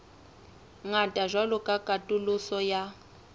ngata jwalo ka katoloso ya